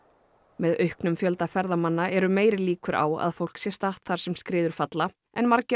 með auknum fjölda ferðamanna eru meiri líkur á að fólk sé statt þar sem skriður falla en margir